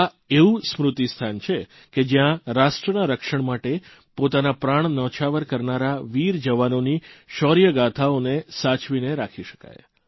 આ એવું સ્મૃતિસ્થાનસ્મારક છે કે જયાં રાષ્ટ્રના રક્ષણ માટે પોતાના પ્રાણ ન્યોછાવર કરનારા વીર જવાનોની શૌર્યગાથાઓને સાચવીને રાખી શકાય